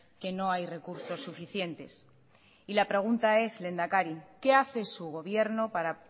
que no hay recursos suficientes y la pregunta es lehendakari qué hace su gobierno para